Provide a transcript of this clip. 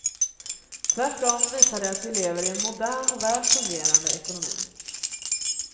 Tvärtom visar det att vi lever i en modern och väl fungerande ekonomi.